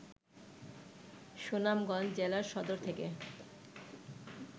সুনামগঞ্জ জেলা সদর থেকে